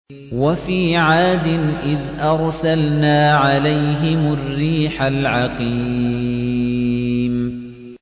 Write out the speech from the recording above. وَفِي عَادٍ إِذْ أَرْسَلْنَا عَلَيْهِمُ الرِّيحَ الْعَقِيمَ